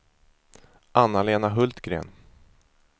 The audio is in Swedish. Anna-Lena Hultgren